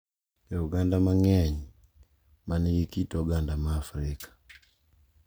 E oganda mang’eny ma nigi kit oganda ma Afrika,